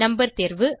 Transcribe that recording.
number தேர்வு